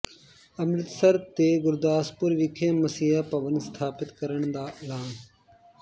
ਅੰਮ੍ਰਿਤਸਰ ਤੇ ਗੁਰਦਾਸਪੁਰ ਵਿਖੇ ਮਸੀਹ ਭਵਨ ਸਥਾਪਤ ਕਰਨ ਦਾ ਐਲਾਨ